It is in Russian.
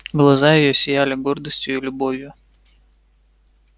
глаза её сияли гордостью и любовью